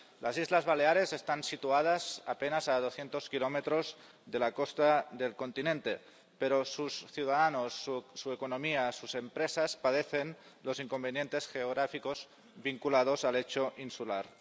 Las Islas Baleares están situadas a apenas 200 kilómetros de la costa del continente, pero sus ciudadanos, su economía, sus empresas, padecen los inconvenientes geográficos vinculados al hecho insular.